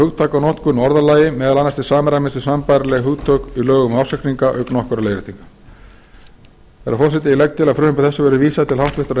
hugtakanotkun og orðalagi meðal annars til samræmis við sambærileg hugtök í lögum um ársreikninga auk nokkurra leiðréttinga herra forseti ég legg til að frumvarpi þessu verði vísað til háttvirtrar